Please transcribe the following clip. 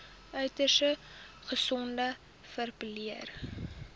uiters gesogde verpleër